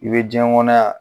I bɛ diɲɛ kɔnɔ yan